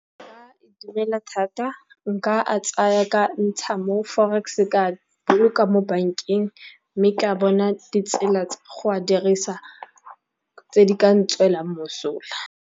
Nka itumela thata, nka ntsha mo forex ka boloka mo bankeng, mme ka bona ditsela tsa go a dirisa tse di kang tswelelang mosola.